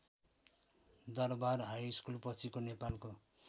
दरवार हाइस्कुलपछिको नेपालको